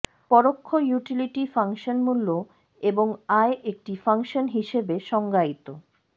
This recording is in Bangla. পরোক্ষ ইউটিলিটি ফাংশন মূল্য এবং আয় একটি ফাংশন হিসাবে সংজ্ঞায়িত